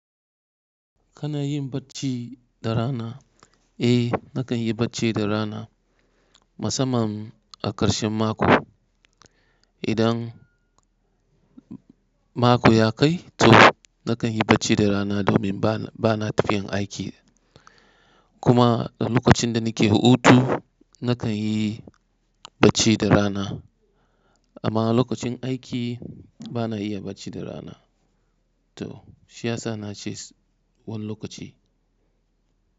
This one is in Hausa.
Kana yin bacci da rana? Eh nakan yi bacci da rana musamman a ƙarshen mako. Idan mako ya kai to nakan yi bacci da rana domin bana tafiyan aiki. Kuma lokacin da nake hutu nakan yi bacci da rana. Amma lokacin aiki bana iya bacci da rana. To shi ya sa na ce wani lokaci.